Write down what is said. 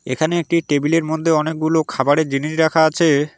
এখানে একটি টেবিলের মধ্যে অনেকগুলো খাবারের জিনিস রাখা আছে।